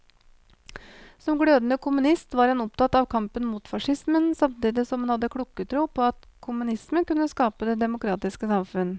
Som glødende kommunist var han opptatt av kampen mot facismen, samtidig som han hadde klokketro på at kommunismen kunne skape det demokratiske samfunn.